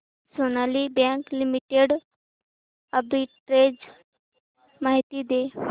Sonali bank limited arbitrage माहिती दे